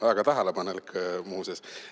" Väga tähelepanelik, muuseas!